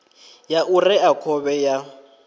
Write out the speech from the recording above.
ya u rea khovhe ya